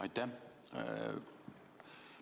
Aitäh!